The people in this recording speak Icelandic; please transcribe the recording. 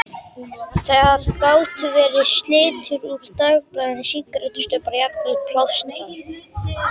Það gátu verið slitrur úr dagblaði, sígarettustubbar, jafnvel plástrar.